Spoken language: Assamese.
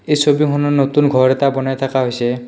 এই ছবিখনত নতুন ঘৰ এটা বনাই থাকা হৈছে।